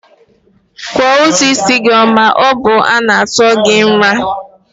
Kwụọ ụtụ isi gị ma ọ bụ a tụọ gị nra!